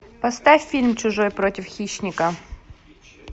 поставь фильм чужой против хищника